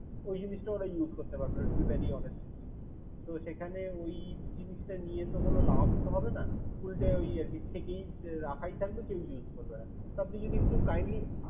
ওই জিনিস টা ওরা use করতে পারবে না to be very honest speaking তো সেখানে ওই জিনিস টা নিয়ে তো কোন লাভ তো হবে না উল্টে ওই আর কি থেকেই রাখাই থাকবে কেউ use করবে না। তো আপনি যদি একটু kindly